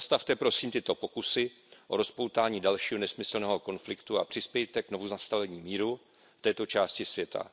Zastavte prosím tyto pokusy o rozpoutání dalšího nesmyslného konfliktu a přispějte k znovunastolení míru v této části světa.